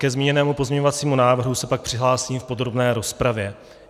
Ke zmíněnému pozměňovacímu návrhu se pak přihlásím v podrobné rozpravě.